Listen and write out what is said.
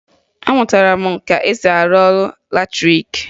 Amụtara m ka e si arụ ọrụ latrịịkị